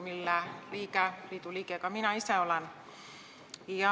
Ma olen selle liidu liige ka ise.